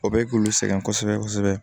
O bɛ k'olu sɛgɛn kosɛbɛ kosɛbɛ